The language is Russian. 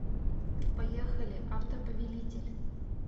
поехали автоповелитель